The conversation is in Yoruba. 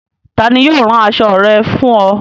Tani yio rán aṣọ̣ rẹ̀ fún o?